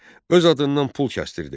Öz adından pul kəsdirdi.